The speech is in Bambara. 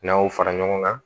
N'an y'o fara ɲɔgɔn kan